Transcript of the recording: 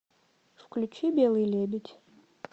включи белый лебедь